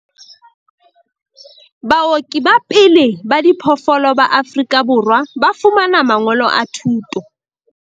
Baoki ba pele ba diphoofolo ba Afrika Borwa ba fumana mangolo a thuto